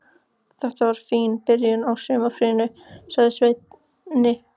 Þetta var fín byrjun á sumarfríinu, sagði Svenni.